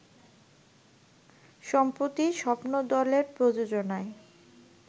সম্প্রতি স্বপ্নদলের প্রযোজনায়